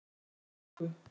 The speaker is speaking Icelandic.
Við töluðum ensku.